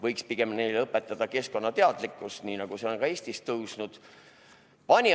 Võiks pigem neile õpetada keskkonnateadlikkust, nii nagu see on ka Eestis tõusnud.